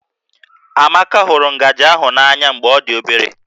Amaka hụrụ ngaji ahụ n'anya mgbe ọ dị obere